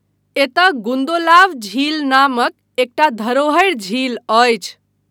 एतय गुन्दोलाव झील नामक एकटा धरोहरि झील अछि।